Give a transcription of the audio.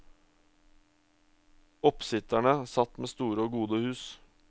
Oppsitterne satt med store og gode hus.